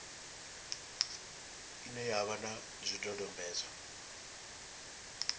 ine ya vha na zwidodombedzwa